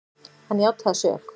Hann játaði sök.